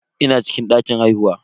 Ina cikin dakin haihuwa.